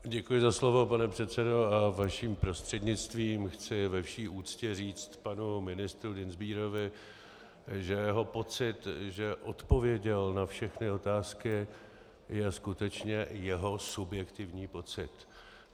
Děkuji za slovo, pane předsedo, a vaším prostřednictvím chci ve vší úctě říct panu ministru Dienstbierovi, že jeho pocit, že odpověděl na všechny otázky, je skutečně jeho subjektivní pocit.